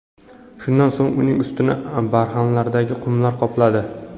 Shundan so‘ng uning ustini barxanlardagi qumlar qopladi.